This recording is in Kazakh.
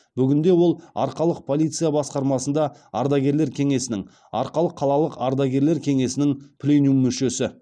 бүгінде ол арқалық полиция басқармасында ардагерлер кеңесінің арқалық қалалық ардагерлер кеңесінің пленюм мүшесі